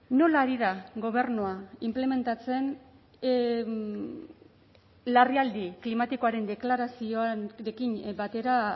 nola ari da gobernua inplementatzen larrialdi klimatikoaren deklarazioarekin batera